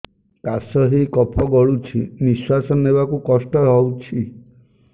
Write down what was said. କାଶ ହେଇ କଫ ଗଳୁଛି ନିଶ୍ୱାସ ନେବାକୁ କଷ୍ଟ ହଉଛି